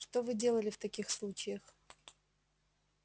что вы делали в таких случаях